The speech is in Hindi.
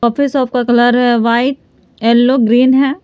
शॉप का कलर व्हाइट येलो ग्रीन है।